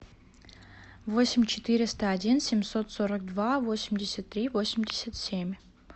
восемь четыреста один семьсот сорок два восемьдесят три восемьдесят семь